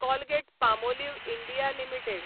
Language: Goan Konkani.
Colgate Palmolive India limited